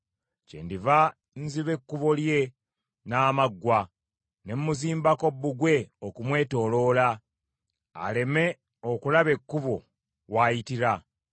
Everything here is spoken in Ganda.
Kyendiva nziba ekkubo lye n’amaggwa, ne mmuzimbako bbugwe okumwetooloola, aleme okulaba ekkubo wayitira.